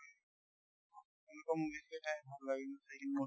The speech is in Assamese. এনেকুৱা movies তো চাই ভাল লাগে ন চাই কিনে moti